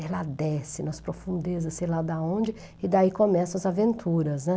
Ela desce nas profundezas, sei lá de onde, e daí começam as aventuras, né?